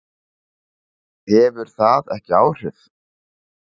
Hefur það ekki áhrif?